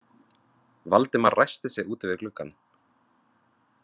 Valdimar ræskti sig úti við gluggann.